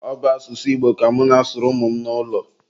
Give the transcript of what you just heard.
ọ bụ asụsụ Igbo ka mụ na-asụrụ ụmụ m n'ụlọ